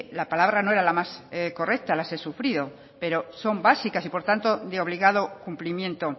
la palabra no era la más correcta las he sufrido pero son básicas y por tanto de obligado cumplimiento